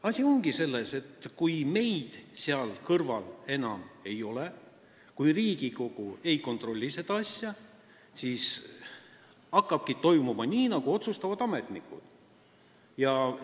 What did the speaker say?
Asi ongi selles, et kui meid seal kõrval enam ei ole, kui Riigikogu seda asja ei kontrolli, siis hakkabki toimuma nii, nagu ametnikud otsustavad.